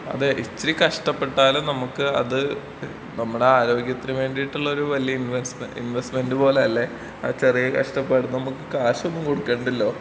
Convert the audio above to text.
അതേ ഇച്ചിരി കഷ്ട്ടപെട്ടാലും നമ്മക്ക് അത് നമ്മടെ ആരോഗ്യത്തിന് വേണ്ടീട്ടുള്ളൊരു വലിയ ഇൻവെസ്റ്റ്, ഇൻവെസ്റ്റ്മെന്റ് പോലെ അല്ലേ ചെറിയ കഷ്ട്ടപ്പാട് നമുക്ക് കാശൊന്നും കൊടുക്കണ്ടല്ലോ.